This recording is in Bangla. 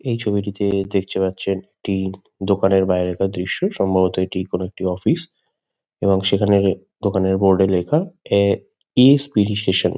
এই ছবিটিতে দেখতে পারছেন একটি দোকানের বাইরেকার দৃশ্য। সম্ভবত এটি কোনো একটি অফিস | এবং সেখানে দোকানের বোর্ড -এ লেখা এ ইসপিরিসেশান |